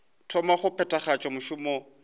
thoma go phethagatša mešomo ya